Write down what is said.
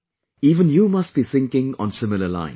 Even you must be thinking on the similar lines